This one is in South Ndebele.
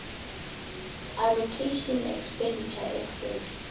allocation expenditure excess